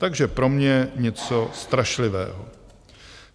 Takže pro mě něco strašlivého.